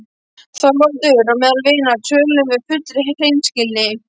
ÞORVALDUR: Og meðal vina tölum við af fullri hreinskilni.